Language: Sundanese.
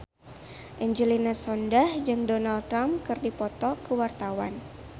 Angelina Sondakh jeung Donald Trump keur dipoto ku wartawan